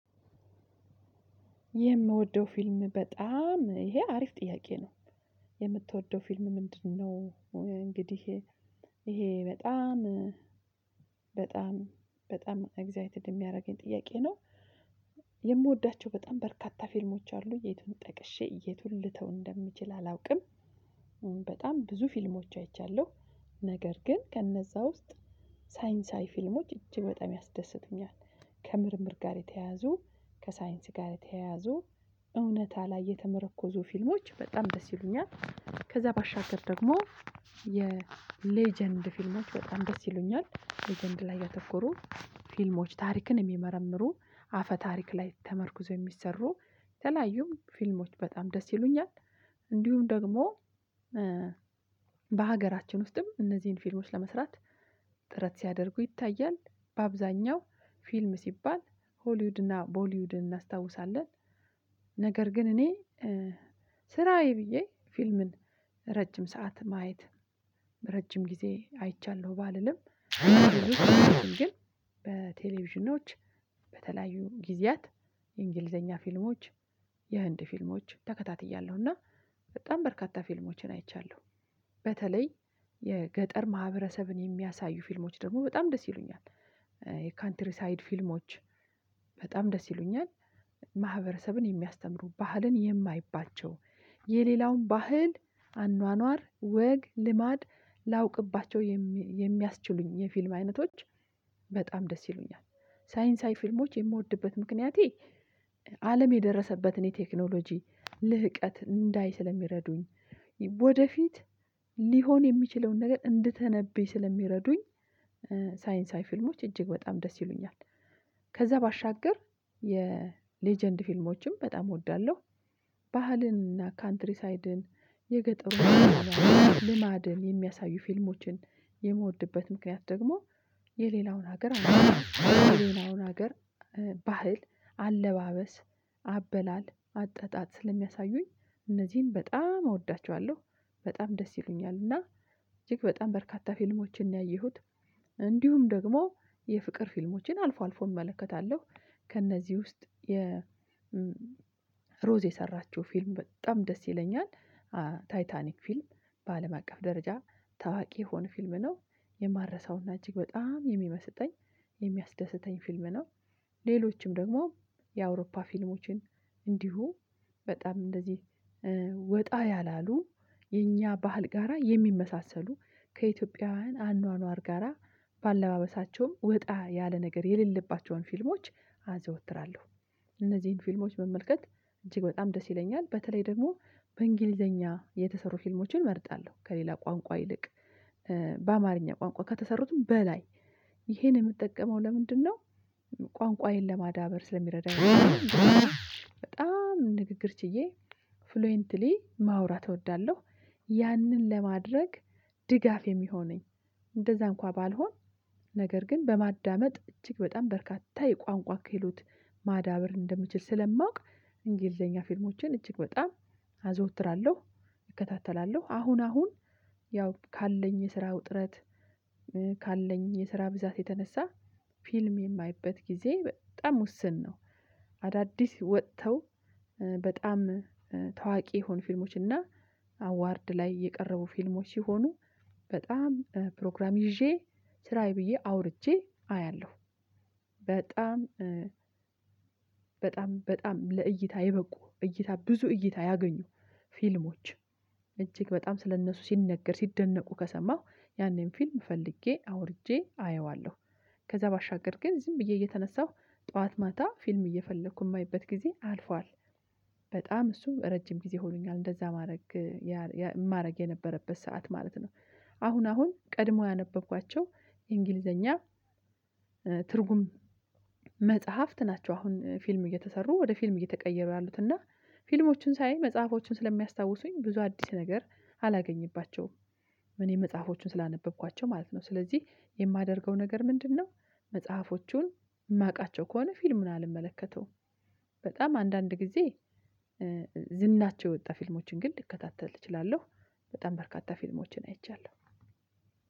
የምወደው ፊልም በጣም ይሄ አሪፍ ጥያቄ ነው። የምትወደው ፊልም ምንድነው እንግዲህ ይሄ በጣም በጣም በጣም አግዛይትድ የሚያደርገኝ ጥያቄ ነው። የምወዳቸው በጣም በርካታ ፊልሞች አሉ። የቱን ጠቅሼ የቱን ልተው እንደምችል አላውቅም አሁን በጣም ብዙ ፊልሞች አይቻለው። ነገር ግን ከነዛ ውስጥ ሳይንሳዊ ፊልሞች አጅግ በጣም ያስደስቱኛል ከምርምር ጋር የተያያዙ ከሳይንስ ጋር የተያያዙ እውነታ ላይ የተመረኮዙ ፊልሞች በጣም ደስ ይሉኛል። ከዛ ባሻገር ደግሞ የሌጀንድ ፊልሞች በጣም ደስ ይሉኛል ሌጀንድ ላይ ያተኮሩ ፊልሞች ታሪክን የሚመረምሩ አፈ ታሪክ ላይ ተመርኩዞ የሚሰሩ ተለያዩ ፊልሞች በጣም ደስ ይሉኛል። እንዲሁም ደግሞ በሀገራችን ውስጥም እነዚህን ፊልሞች ለመስራት ጥረት ሲያደርጉ ይታያል በአብዛኛው ፊልም ሲባል ሆሊውድ እና ቦሊውድን እናስታውሳለን። ነገር ግን እኔ ስራዬ ብዬ ፊልምን ረጅም ሰዓት ማየት ረጅም ጊዜ አይቻለሁ ባልልም ግን በቴሌቪዥኖች በተለያዩ ጊዜያት የእንግሊዘኛ ፊልሞች የህንድ ፊልሞች ተከታትያለሁ እና በጣም በርካታ ፊልሞችን አይቻለው። በተለይ የገጠር ማህበረሰብን የሚያሳዩ ፊልሞች ደግሞ በጣም ደስ ይሉኛል የካንትሪ ሳይድ ፊልሞች በጣም ደስ ይሉኛል ማህበረሰብን የሚያስተምሩ ባህልን የማይባቸው የሌላውን ባህል አኗኗር ወግ ልማድ ላውቅባቸው የሚያስችሉኝ የፊልም አይነቶች በጣም ደስ ይሉኛል ሳይንሳዊ ፊልሞች የምወድበት ምክንያቴ አለም የደረሰበትን የቴክኖሎጂ ልህቀት እንዳይ ስለሚረዱኝ ወደፊት ሊሆን የሚችለውን ነገር እንድተነብይ ስለሚረዱኝ ሳይንሳዊ ፊልሞች እጅግ በጣም ደስ ይሉኛል። ከዛ ባሻገር የሌጀንድ ፊልሞችም በጣም እወዳለው። ባህልን እና ካንትሪሳይድን የገጠሩን ልማድን የሚያሳዩ ፊልሞችን የምወድበት ምክንያት ደግሞ የሌላውን ሀገር አለው የሌላውን ሀገር ባህል አለባበስ አበላል አጠጣጥ ስለሚያሳዩኝ እነዚህን በጣም እወዳቸዋለሁ በጣም ደስ ይሉኛል እና እጅግ በጣም በርካታ ፊልሞችን ነው ያየሁት። እንዲሁም ደግሞ የፍቅር ፊልሞችን አልፎ አልፎ እመለከታለሁ ከእነዚህ ውስጥ የ ሮዝ የሰራችው ፊልም በጣም ደስ ይለኛል። ታይታኒክ ፊልም በአለም አቀፍ ደረጃ ታዋቂ የሆነ ፊልም ነው የማረሳውና እጅግ በጣም የሚመስጠኝ የሚያስደስተኝ ፊልም ነው። ሌሎችም ደግሞ የአውሮፓ ፊልሞችን እንዲሁ በጣም እንደዚህ ወጣ ያላሉ የኛ ባህል ጋራ የሚመሳሰሉ ከኢትዮጵያውያን አኗኗር ጋራ በአለባበሳቸውም ውጣ ያለ ነገር የሌለባቸውን ፊልሞች አዘወትራለው። እነዚህን ፊልሞች መመልከት እጅግ በጣም ደስ ይለኛል በተለይ ደግሞ በእንግሊዘኛ የተሰሩ ፊልሞችን እመርጣለሁ ከሌላ ቋንቋ ይልቅ በአማርኛ ቋንቋ ከተሰሩትም በላይ ይሄን የምጠቀመው ለምንድነው ቋንቋዬን ለማዳበር ስለሚረዳኝ በጣም ንግግር ችዬ ፍሉዌንትሊ ማውራት እወዳለሁ ያንን ለማድረግ ድጋፍ የሚሆነኝ እንደዛ እንኳን ባልሆን ነገር ግን በማዳመጥ እጅግ በጣም በርካታ የቋንቋ ክህሎት ማዳበር እንደምችል ስለማውቅ እንግሊዘኛ ፊልሞችን እጅግ በጣም አዘወትራለው እከታተላለሁ አሁን አሁን ያው ካለኝ የስራ ውጥረት ካለኝ የስራ ብዛት የተነሳ ፊልም የማይበት ጊዜ በጣም ውስን ነው። አዳዲስ ወጥተው በጣም ታዋቂ የሆኑ ፊልሞች እና አዋርድ ላይ የቀረቡ ፊልሞች ሲሆኑ በጣም ፕሮግራም ይዤ ስራዬ ብዬ አውርቼ አያለሁ በጣም በጣም በጣም ለእይታ የበቁ እይታ ብዙ እይታ ያገኙ ፊልሞች እጅግ በጣም ስለእነሱ ሲነገር ሲደነቁ ከሰማሁ ያኔን ፊልም ፈልጌ አውርጄ አየዋለው ከዛ ባሻገር ግን ዝም ብዬ እየተነሳሁ ጡዋት ማታ ፊልም እየፈለኩ የማይበት ጊዜ አልፏል። በጣም እሱ ረጅም ጊዜ ሆኖኛል እንደዛ ማድረግ ማድረግ የነበረበት ሰዓት ማለት ነው። አሁን አሁን ቀድሞ ያነበብኳቸው የእንግሊዘኛ ትርጉም መጽሐፍት ናቸው አሁን ፊልም እየተሰሩ ወደ ፊልም እየተቀየሩ ያሉትና ፊልሞችን ሳይ መጽሐፎችን ስለሚያስታውሱኝ ብዙ አዲስ ነገር አላገኝባቸውም እኔ መጽሐፎቹን ስላነበብኳቸው ማለት ነው። ስለዚህ የማደርገው ነገር ምንድነው መጽሐፎቹን የማውቃቸው ከሆነ ፊልሙን አልመለከተውም። በጣም አንዳንድ ጊዜ ዝናቸው የወጣ ፊልሞችን ግን ልከታተል እችላለው በጣም በርካታ ፊልሞችን አይቻለው።